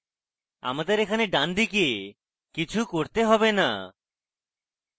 আমাদের এখানে ডান দিকে কিছু করতে have না